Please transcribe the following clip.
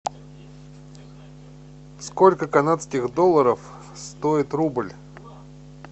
сколько канадских долларов стоит рубль